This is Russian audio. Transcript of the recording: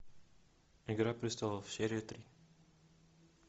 игра престолов серия три